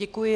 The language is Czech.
Děkuji.